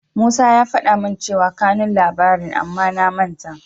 Musa ya faɗa min cewa kanun labarin amma na manta.